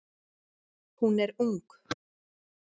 Hún er ung.